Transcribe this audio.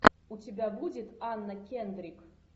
у тебя будет анна кендрик